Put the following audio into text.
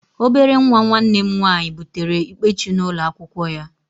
Obere nwa nwanne m nwaanyị butere Ikpechu n'ụlọ akwụkwọ ya